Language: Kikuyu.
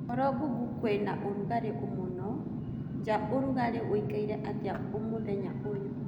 uhoro google kwĩnaũrũgarĩ mũno jaũrũgarĩ ũĩkaire atĩa mũthenya uyu